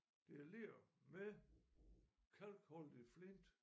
Det er ler med kalkholdig flint